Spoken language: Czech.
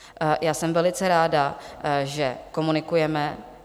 Já jsem velice ráda, že komunikujeme.